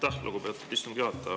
Aitäh, lugupeetud istungi juhataja!